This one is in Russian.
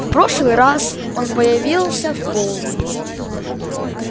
в прошлый раз он появился в полдень